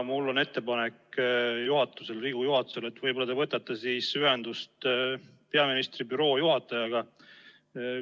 Mul on ettepanek Riigikogu juhatusele, et võib-olla te võtate ühendust peaministri büroo juhatajaga.